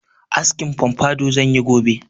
Askin pompadour zan yi gobe.